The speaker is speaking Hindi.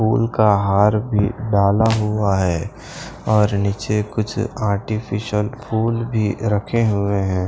फूल का हार भी डाला हुआ है और नीचे कुछ आर्टिफिशियल फूल भी रखे हुए है।